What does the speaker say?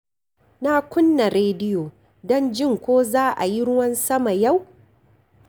Na kunna rediyo don jin ko za a yi ruwan sama yau.